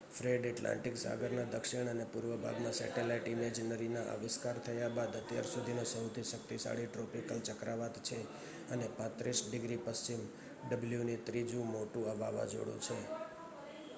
Fred Atlantic સાગરના દક્ષિણ અને પૂર્વ ભાગમાં સેટલાઈટ ઈમેજરીના આવિષ્કાર થયા બાદ અત્યાર સુધીનો સહુથી શક્તિશાળી ટ્રોપિકલ ચક્રવાત છે અને 35 ડિગ્રી પશ્ચિમ w નો ત્રીજુ મોટુ વાવાજોડુ છે